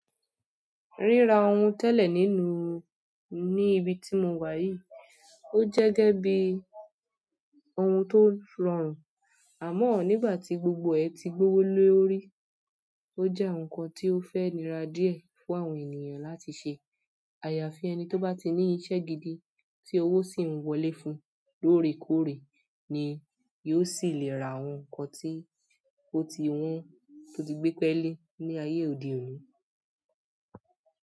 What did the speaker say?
Ríra ohun tẹ́lẹ̀ nínú ní ibi tí mo wà yìí, ó jẹ́ gẹ́gẹ́ bí ohun tó rọ̀rùn, àmọ́ nígbà tí gbogbo ẹ̀ ti gbówó lórí, ó jẹ́ ohunkan tí ó fẹ́ni rà díẹ̀ fún àwọn ènìyàn láti ṣe. Àyàfi ẹni tó bá ti ní iṣẹ́ gidi tí owó sì ń wọlé fún lórèkóòrè ni yóò sì le ra ohunkan tí ó ti wọ́n tó ti gbé pẹ́lé ní ayé òde òní.